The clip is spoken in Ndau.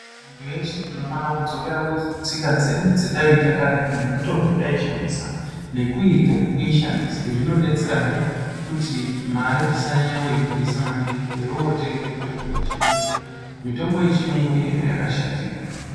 Antu eshe tinofana kudzokera kustika dzedu dzatayiita karetu nemitombo yataishandisa, nekuirya nekuishandisa. Izvi zvinodetserahe kuti mare tisanyanya kuibudisa maningi teiotenge mitombi yechiyungu. Mitombo yechiyungu ine zvayaka shatira.